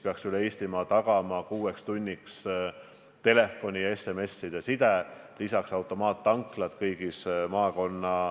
Hea peaminister!